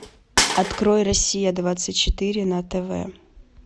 открой россия двадцать четыре на тв